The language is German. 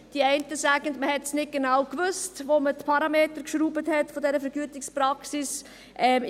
Die einen sagen, man habe es nicht genau gewusst, als man die Parameter dieser Vergütungspraxis schraubte.